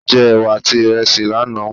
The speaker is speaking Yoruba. A jẹ ẹwà àti iresi lánàá.